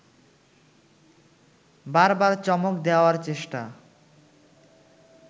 বারবার চমক দেওয়ার চেষ্টা